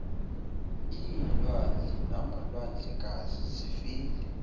iilwandle namalwandlekazi zifile